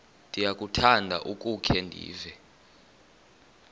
ndiyakuthanda ukukhe ndive